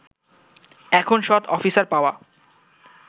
এখন সৎ অফিসার পাওয়া